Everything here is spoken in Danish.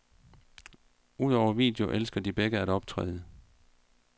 Udover video elsker de begge at optræde.